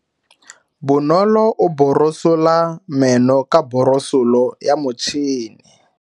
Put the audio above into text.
Bonolo o borosola meno ka borosolo ya motšhine.